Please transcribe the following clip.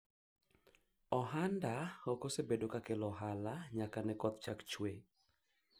biashara yangu haijakuwa ikileta faida tangu mvua ianze kunyesha